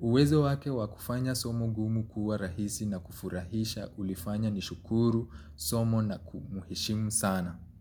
Uwezo wake wakufanya somo gumu kuwa rahisi na kufurahisha ulifanya nishukuru, somo na kumuheshimu sana.